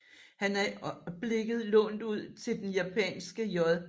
Han er i øjeblikket lånt ud til den japanske J